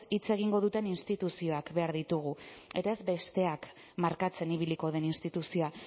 hitz egingo duten instituzioak behar ditugu eta ez besteak markatzen ibiliko den instituzioa